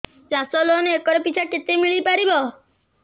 ଚାଷ loan acre ପିଛା କେତେ ମିଳି ପାରିବ